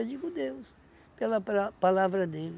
Eu digo Deus, pela pala palavra dele.